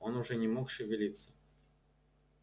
он уже не мог шевелиться